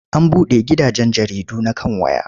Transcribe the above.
An buɗe gidajen jaridu na kan waya.